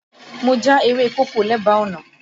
Mo já ewé kókò lẹ́bàá ọ̀nà